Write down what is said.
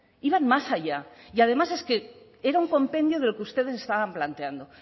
iban más allá y además es que era un compendio de lo que ustedes estaban planteando